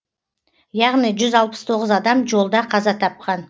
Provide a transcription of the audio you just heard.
яғни жүз алпыс тоғыз адам жолда қаза тапқан